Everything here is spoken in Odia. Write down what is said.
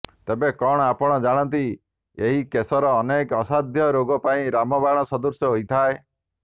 ତେବେ କଣ ଆପଣ ଜାଣନ୍ତି ଏହି କେଶର ଅନେକ ଅସାଧ୍ୟ ରୋଗ ପାଇଁ ରାମବାଣ ସଦୃଶ ହୋଇଥାଏ